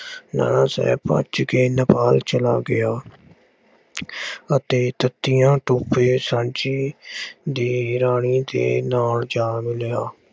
ਨਾਨਾ ਸਾਹਿਬ ਭੱਜ ਕੇ ਨੇਪਾਲ ਚਲਾ ਗਿਆ ਅਤੇ ਤਾਂਤੀਆ ਟੋਪੇ ਝਾਂਸੀ ਦੀ ਰਾਣੀ ਦੇ ਨਾਲ ਜਾ ਰਲਿਆ।